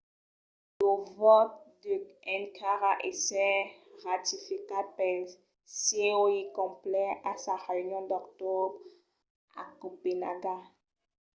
lo vòte deu encara èsser ratificat pel coi complet a sa reünion d’octobre a copenaga